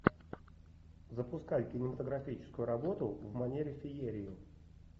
запускай кинематографическую работу в манере феерии